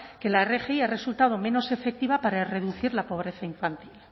que la rgi ha resultado menos efectiva para reducir la pobreza infantil